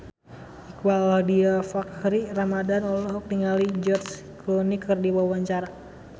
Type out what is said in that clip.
Iqbaal Dhiafakhri Ramadhan olohok ningali George Clooney keur diwawancara